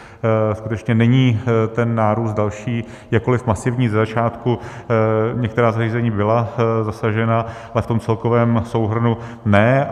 Skutečně není ten nárůst další, jakkoli masivní ze začátku, některá zařízení byla zasažena, ale v tom celkovém souhrnu ne.